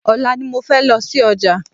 Ọ̀la ni mo fẹ́ lọ sí ọjà